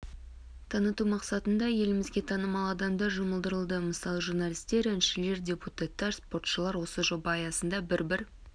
таныту мақсатында елімізге танымал адамдар жұмылдырылады мысалы журналистер әншілер депутаттар спортшылар осы жоба аясында бір-бір